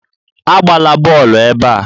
Agbala bọọlụ ebe a!